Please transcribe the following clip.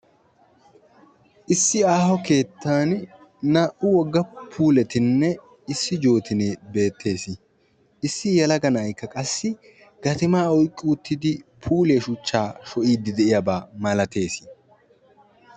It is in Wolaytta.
Issi aaho keettan naa'u puulettinne jootinne beetees. Issi wogaa na'ay gatima oyqqidid puuliya sho'idde beetees.